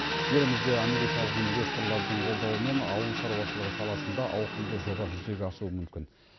елімізде америкалық инвесторлардың қолдауымен ауыл шаруашылығы саласында ауқымды жоба жүзеге асуы мүмкін